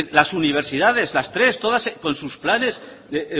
las universidades las tres todas con sus planes de